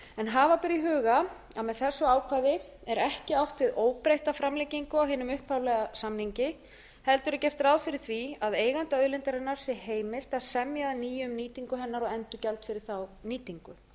hafa ber í huga að með þessu ákvæði er ekki átt við óbreytta framlengingu á hinum upphaflega samningi heldur er gert ráð fyrir því að eiganda auðlindarinnar sé heimilt að semja að nýju um nýtingu hennar og endurgjald fyrir þá nýtingu